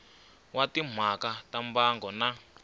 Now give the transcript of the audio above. wa timhaka ta mbango na